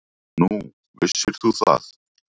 Nú, vissir þú það?